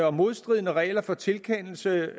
og modstridende regler for tilkendelse